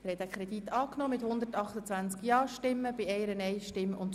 Sie haben den Kreditantrag angenommen.